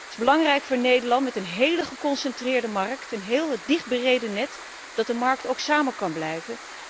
Het is belangrijk voor Nederland met een heel geconcentreerde markt, een heel dicht bereden net, dat de markt ook samen kan blijven